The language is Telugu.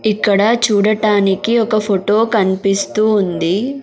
ఇక్కడ చూడటానికి ఒక ఫొటో కన్పిస్తూ ఉంది.